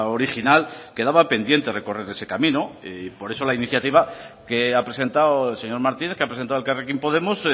original quedaba pendiente recorrer ese camino y por eso la iniciativa que ha presentado el señor martínez que ha presentado elkarrekin podemos